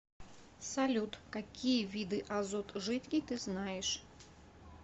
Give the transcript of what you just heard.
салют какие виды азот жидкий ты знаешь